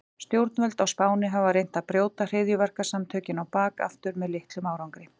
Stjórnvöld á Spáni hafa reynt að brjóta hryðjuverkasamtökin á bak aftur með litlum árangri.